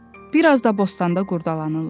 Bir az da bostanda qurdalanırlar.